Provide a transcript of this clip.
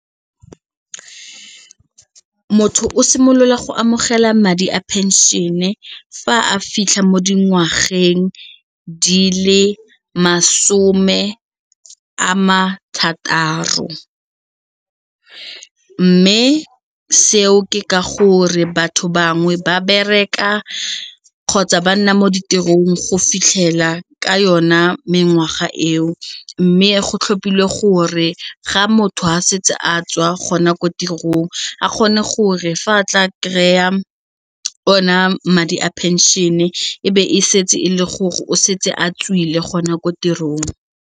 Motho o simolola go amogela madi a pension-e fa a fitlha mo dingwageng di le masome a ma thataro mme seo ke ka gore batho bangwe ba bereka kgotsa ba nna mo ditirong go fitlhela ka yona mengwaga eo mme go tlhophile gore ga motho a setse a tswa kgona ko tirong a kgone gore fa a tla kry-a one a madi a pension-e e be e setse e le gore o setse a tswile gona ko tirong.